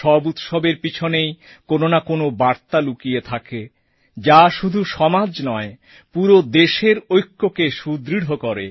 সব উৎসবের পিছনেই কোন না কোন বার্তা লুকিয়ে থাকে যা শুধু সমাজ নয় পুরো দেশের ঐক্যকে সুদৃঢ় করে